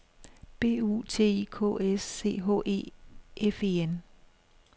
B U T I K S C H E F E N